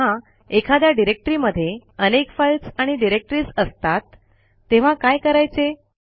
पण जेव्हा एखाद्या डिरेक्टरी मध्ये अनेक फाईल्स आणि डिरेक्टरीज असतात तेव्हा काय करायचे